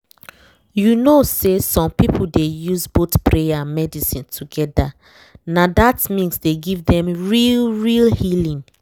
you know say some people dey use both prayer and medicine together—na that mix dey give dem real real healing